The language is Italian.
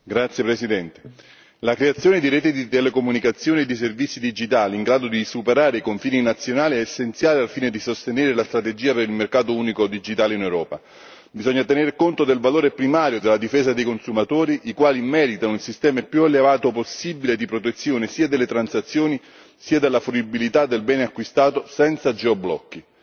Signor Presidente, onorevoli deputati, la creazione di reti di telecomunicazioni e di servizi digitali in grado di superare i confini nazionali è essenziale al fine di sostenere la strategia del mercato unico digitale in Europa. Occorre tener conto del valore primario della difesa dei consumatori, i quali meritano un sistema il più elevato possibile di protezione sia delle transazioni sia della fruibilità del bene acquistato, senza geoblocchi.